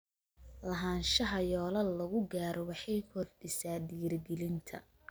Lahaanshaha yoolal lagu gaaro waxay kordhisaa dhiirigelinta.